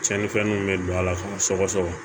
Tiɲɛnifɛnw bɛ don a la k'a sɔgɔ sɔgɔ sɔgɔ